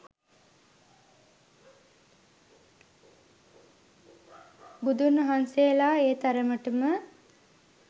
බුදුන්වහන්සේලා ඒ තරමටම